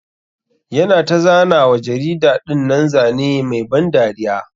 Yana ta zana wa jarida dinnan Zane Mai ban dariya.